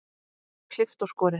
Klippt og skorið.